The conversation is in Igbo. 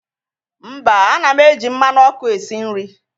mba, ana m eji mmanụ ọkụ esi nri.